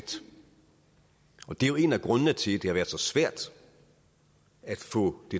og det er jo en af grundene til at det har været så svært at få det